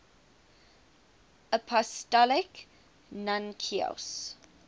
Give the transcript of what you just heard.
apostolic nuncios